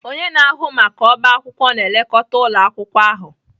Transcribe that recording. Onye na-ahụ maka ọbá akwụkwọ na-elekọta ụlọ akwụkwọ ahụ